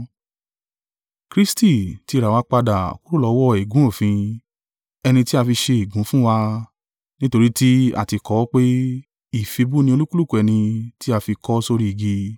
Kristi ti rà wá padà kúrò lọ́wọ́ ègún òfin, ẹni tí a fi ṣe ègún fún wa: nítorí tí a ti kọ ọ́ pé, “Ìfibú ni olúkúlùkù ẹni tí a fi kọ́ sórí igi.”